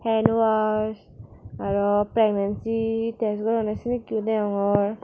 hen wash aro pregnancy tes goronne senekke yo degongor.